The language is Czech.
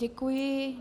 Děkuji.